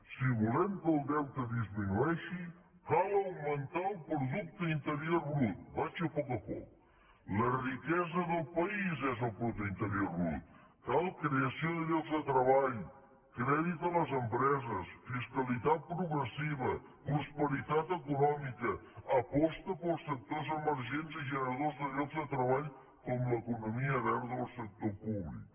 si volem que el deute disminueixi cal augmentar el producte interior brut vaig a poc a poc la riquesa del país és el producte interior brut cal creació de llocs de treball crèdit a les empreses fiscalitat progressiva prosperitat econòmica aposta pels sectors emergents i generadors de llocs de treball com l’economia verda o el sector públic